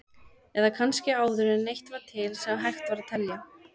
Eða kannski áður en neitt var til sem hægt var að telja?